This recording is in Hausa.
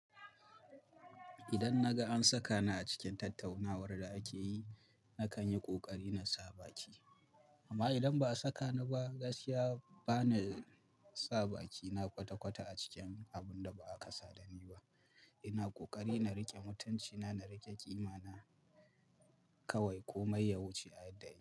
Idan na ga an saka ni a cikin tattaunawar da ake yi, na kan yi ƙoƙari na sa baki. Amma idan ba a saka ni ba, gaskiya ba na sa baki. Na kwata-kwata a cikin abun da ba a kasa dani ba. Ina ƙoƙari na riƙe mutanci na, na riƙe ƙima na kawai komai ya wuce adadi.